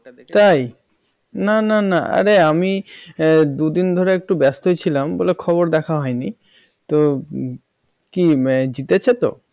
তাই না না না আরে আমি দুদিন ধরে একটু ব্যস্ত ছিলাম বলে খবর দেখা হয়নি কি জিতেছে তো?